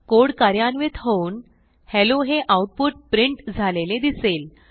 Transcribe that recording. code कार्यान्वित होऊन hello हे आऊटपुट प्रिंट झालेले दिसेल